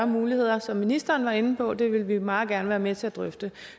muligheder som ministeren var inde på det vil vi meget gerne være med til at drøfte